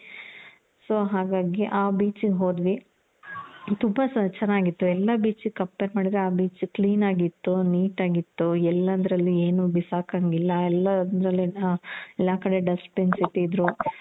so ಹಾಗಾಗಿ ಆ beach ಗೆ ಹೋದ್ವಿ. ತುಂಬ ಚೆನಾಗಿತ್ತು. ಎಲ್ಲಾ beach ಗೆ compare ಮಾಡಿದ್ರೆ ಆ beach clean ಆಗಿತ್ತು.neat ಆಗಿ ಇತ್ತು. ಎಲ್ಲೆಂದರಲ್ಲಿ ಬಿಸಾಕಂಗಿಲ್ಲ ಎಲ್ಲಾ ಕಡೆ Dustbin's ಇಟ್ಟಿದ್ರು.